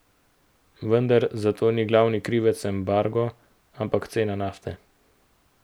Vendar za to ni glavni krivec embargo, ampak cena nafte.